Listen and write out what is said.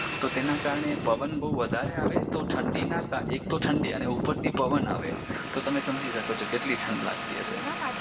તો તેના કારણે પવન બહુ વધારે આવે તો ઠંડીના કારણે એક તો ઠંડી અને ઉપરથી પવન આવે તો તમે સમજી શકો છો કે કેટલી ઠંડ લાગતી હશે